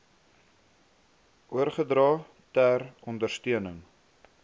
oorgedra ter ondersteuning